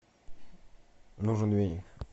нужен веник